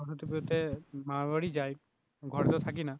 সরস্বতী পুজোতে মামার বাড়ি যায় ঘরেতে থাকি না